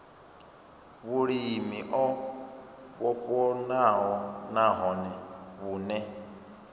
vhulimi o vhofhanaho nahone vhune